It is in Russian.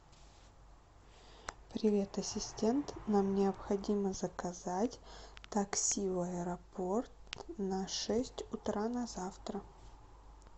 привет ассистент нам необходимо заказать такси в аэропорт на шесть утра на завтра